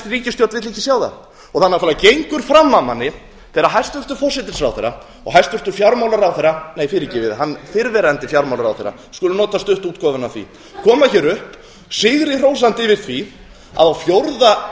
ríkisstjórn vill ekki sjá það það náttúrlega gengur fram af manni þegar hæstvirtur forsætisráðherra og hæstvirtur fjármálaráðherra nei fyrirgefið fyrrverandi fjármálaráðherra skulum nota stuttu útgáfuna af því koma hér upp sigri hrósandi yfir því að á fjórða